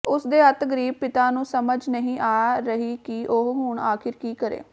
ਉਸਦੇ ਅਤਿ ਗਰੀਬ ਪਿਤਾ ਨੂੰ ਸਮਝ ਨਹੀਂ ਆ ਰਹੀ ਕਿ ਉਹ ਹੁਣ ਆਖਰ ਕੀ ਕਰੇ